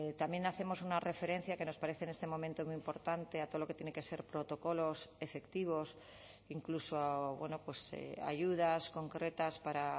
también hacemos una referencia que nos parece en este momento muy importante a todo lo que tiene que ser protocolos efectivos incluso ayudas concretas para